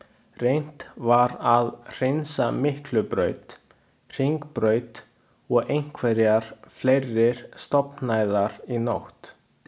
Reynt var að hreinsa Miklubraut, Hringbraut og einhverjar fleiri stofnæðar í nótt.